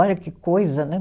Olha que coisa, né?